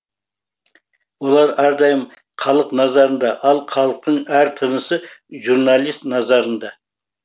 олар әрдайым халық назарында ал халықтың әр тынысы журналист назарында